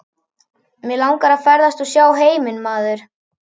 Mig langar að ferðast og sjá heiminn maður.